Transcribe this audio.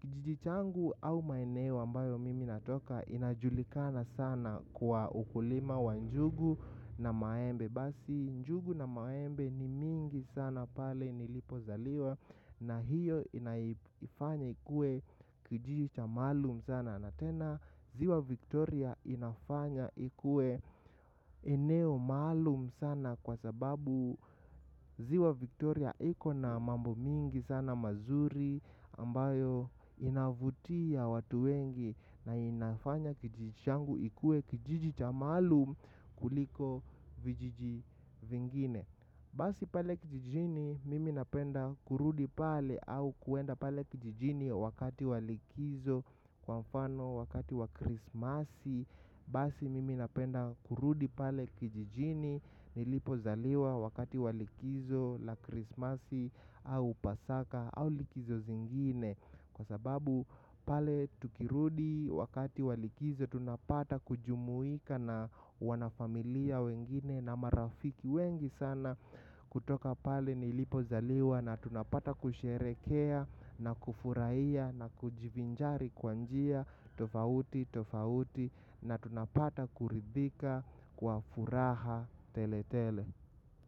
Kijiji changu au maeneo ambayo mimi natoka, inajulikana sana kwa ukulima wa njugu na maembe. Basi njugu na maembe ni mingi sana pale nilipo zaliwa na hio inaifanya ikuwe kijiji cha maalum sana, na tena ziwa Victoria inafanya ikuwe eneo maalumu sana kwa sababu ziwa Victoria iko na mambo mingi sana mazuri ambayo inavutia watu wengi na inafanya kijiji changu ikuwe kijiji cha maalum kuliko vijiji vingine. Basi pale kijijini, mimi napenda kurudi pale au kuenda pale kijijini wakati wa likizo kwa mfano wakati wa krismasi. Basi mimi napenda kurudi pale kijijini nilipo zaliwa wakati wa likizo la krismasi au pasaka au likizo zingine. Kwa sababu pale tukirudi wakati wa likizo tunapata kujumuika na wanafamilia wengine na marafiki wengi sana. Kutoka pale nilipo zaliwa na tunapata kusherehekea na kufurahia na kujivinjari kwa njia tofauti tofauti na tunapata kuridhika kwa furaha tele tele.